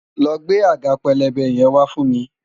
lọ gbé àga pélébé yẹn wa fún mi!